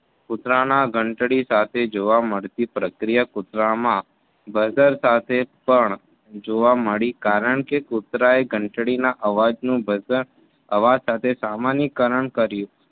કુતરાના ઘંટડી સાથે જોવા મળતી પ્રક્રિયા કૂતરામાં બજાર સાથે પણ જોવા મળી કારણ કે કૂતરાએ ઘંટડીના અવાજ નું ભજન હવા સાથે સામાન્યકરણ કર્યું.